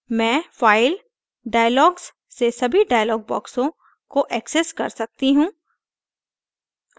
मैं file>> dialogs से सभी dialog boxes को access कर सकती हूँ